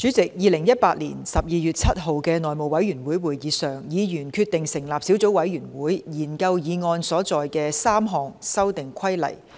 在2018年12月7日的內務委員會會議上，議員決定成立小組委員會，研究議案所載的3項修訂規例。